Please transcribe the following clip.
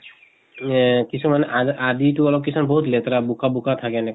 এহ কিছুমান আদ আদি টো অলপ কিছুমান বহুত লেতেৰা বোকা বোকা থাকে এনেকা।